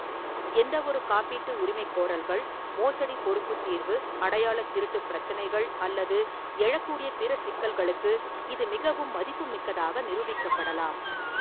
எந்தவொரு காப்பீட்டு உரிமைகோரல்கள், மோசடி பொறுப்புத் தீர்வு, அடையாளத் திருட்டுப் பிரச்சினைகள் அல்லது எழக்கூடிய பிற சிக்கல்களுக்கு இது மிகவும் மதிப்புமிக்கதாக நிரூபிக்கப்படலாம்.